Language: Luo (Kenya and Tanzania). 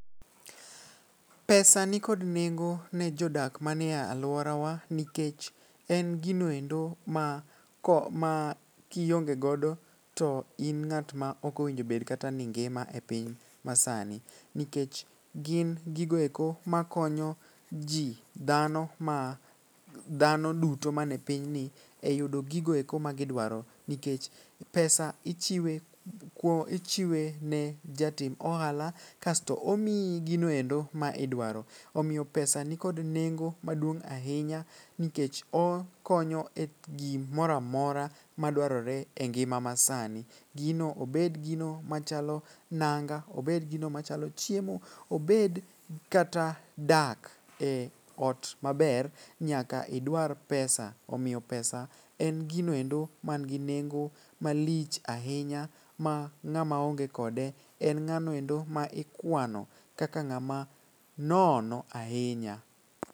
pesa nikod nengo ne jodak mane aluorawa nikech en gino endo ma ko ma kionge godo to in ng'at ma okowinjo bed kata ni ngima e piny masani, nikech gin gigo eko makonyo jii , dhano ma dhano duto man e pinyni e yudo giko eko ma gidwaro .Nikech pesa ichiwe kuo ichiwe ne jatim ohala kasto omiyi gino endo ma idwaro. Omiyo pesa nikod nengo maduong' ahinya nikech okonyo e gimoramora madwarore e ngima masani. Gino obed gino machalo nango obed gino machalo chiemo, obed kata dak ot maber nyaka idwar pesa .Omiyo pesa en gino endo man gi nengo malich ahinya ma ng'ama onge kode en ng'ano endo ma ikwano kaka ng'ama nono ahinya.